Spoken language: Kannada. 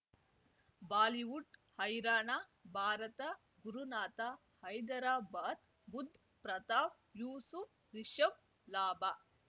ಬಾಲಿವುಡ್ ಹೈರಾಣ ಭಾರತ ಗುರುನಾಥ ಹೈದರಾಬಾದ್ ಬುಧ್ ಪ್ರತಾಪ್ ಯೂಸುಫ್ ರಿಷಬ್ ಲಾಭ